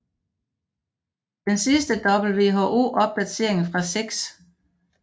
Den sidste WHO opdatering fra 6